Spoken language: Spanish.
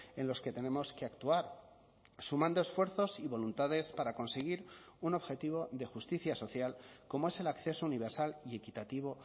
en los que tenemos que actuar sumando esfuerzos y voluntades para conseguir un objetivo de justicia social como es el acceso universal y equitativo